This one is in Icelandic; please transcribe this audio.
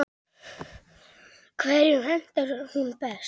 Hverjum hentar hún best?